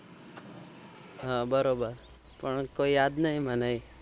હા બરોબર કેમ કે યાદ નહી મને